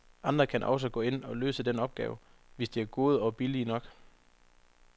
Andre kan også gå ind og løse den opgave, hvis de er gode og billige nok.